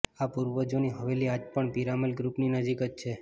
આ પૂર્વજોની હવેલી આજ પણ પીરામલ ગ્રુપની નજીક જ છે